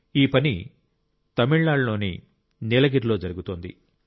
ఈ పని తమిళనాడులోని నీలగిరిలో జరుగుతోంది